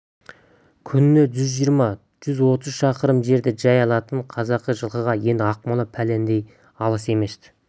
күніне жүз жиырма-жүз отыз шақырым жерді жай алатын қазақы жылқыға енді ақмола бәлендей алыс емес-ті